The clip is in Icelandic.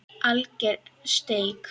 Alger steik